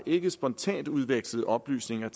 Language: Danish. ikke spontant udvekslet oplysninger